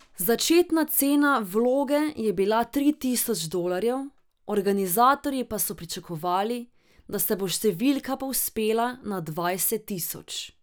Začetna cena vloge je bila tri tisoč dolarjev, organizatorji pa so pričakovali, da se bo številka povzpela na dvajset tisoč.